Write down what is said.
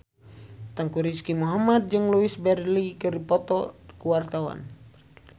Teuku Rizky Muhammad jeung Louise Brealey keur dipoto ku wartawan